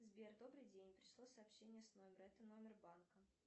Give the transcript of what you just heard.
сбер добрый день пришло сообщение с номера это номер банка